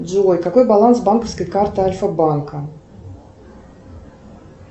джой какой баланс банковской карты альфа банка